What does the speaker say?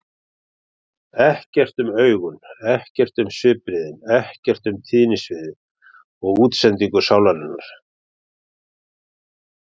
Ekkert um augun, ekkert um svipbrigðin, ekkert um tíðnisvið og útsendingu sálarinnar.